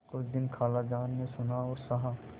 कुछ दिन खालाजान ने सुना और सहा